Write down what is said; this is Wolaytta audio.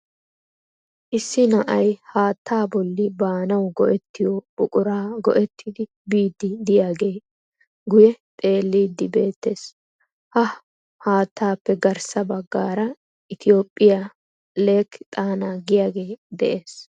Issi na'ay haattaa bolli baanawu go'ettiyo buquraa go'ttidi biidi diyagee guye xeellidi beettees. Ha haattaappe garssa baggaara "Ethiopia Lake Tana" giyaagee de'ees.